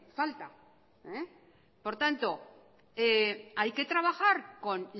falta por tanto hay que trabajar con